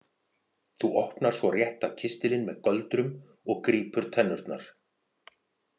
Þú opnar svo rétta kistilinn með göldrum og grípur tennurnar.